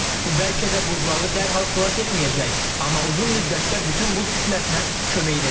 Bu bəlkə də buzlağı dərhal xilas etməyəcək, amma uzun müddətdə bütün buz kütləsinə kömək edəcək.